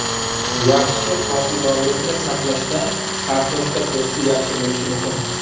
Yaxshi hosildorlikni saqlashda kartoshka po‘sti yaxti bo‘lishi muhim.